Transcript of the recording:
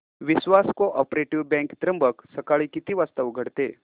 विश्वास cooperative bank Trimbak सकाळी किती वाजता उघडते